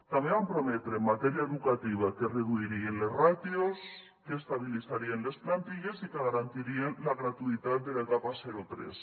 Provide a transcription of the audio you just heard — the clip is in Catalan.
també van prometre en matèria educativa que es reduirien les ràtios que estabilitzarien les plantilles i que garantirien la gratuïtat de l’etapa zero tres